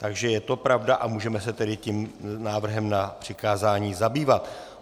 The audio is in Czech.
Takže je to pravda a můžeme se tedy tím návrhem na přikázání zabývat.